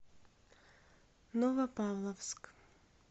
новопавловск